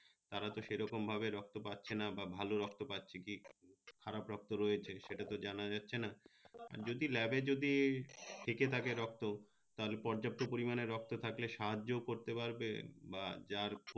তারা তো সে রকম ভাবে রক্ত পাচ্ছে না বা ভালো রক্ত পাচ্ছে কি খারাপ রক্ত রয়েছে সেটা তো জানা যাচ্ছে না আহ যদি lab যদি থেকে থাকে রক্ত তার পর্যাপ্ত পরিমানে রক্ত থাকলে সাহায্য করতে পারবে বা যার